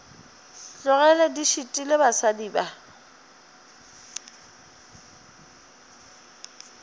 tlogele di šitile basadi ba